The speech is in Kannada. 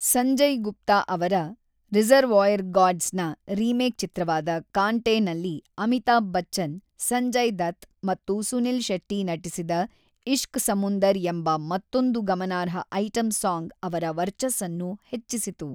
ಸಂಜಯ್ ಗುಪ್ತಾ ಅವರ 'ರಿಸರ್ವಾಯರ್‌ ಡಾಗ್ಸ್‌' ನ ರಿಮೇಕ್‌ ಚಿತ್ರವಾದ 'ಕಾಂಟೆ' ನಲ್ಲಿ ಅಮಿತಾಬ್ ಬಚ್ಚನ್, ಸಂಜಯ್ ದತ್ ಮತ್ತು ಸುನಿಲ್ ಶೆಟ್ಟಿ ನಟಿಸಿದ 'ಇಷ್ಕ್ ಸಮುಂದರ್' ಎಂಬ ಮತ್ತೊಂದು ಗಮನಾರ್ಹ ಐಟಂ ಸಾಂಗ್ ಅವರ ವರ್ಚಸ್ಸನ್ನು ಹೆಚ್ಚಿಸಿತು.